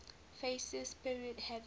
fascist period having